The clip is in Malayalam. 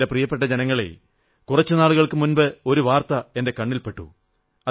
എന്റെ പ്രിയപ്പെട്ട ജനങ്ങളേ കുറച്ചു നാളുകൾക്കു മുമ്പ് ഒരു വാർത്ത എന്റെ കണ്ണിൽ പെട്ടു